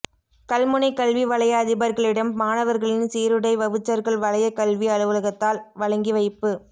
கல்முனை கல்வி வலய அதிபர்களிடம் மாணவர்களின் சீருடை வவுச்சர்கள் வலயக் கல்வி அலுவலகத்தால் வழங்கி வைப்பு